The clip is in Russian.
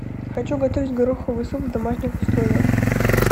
хочу готовить гороховый суп в домашних условиях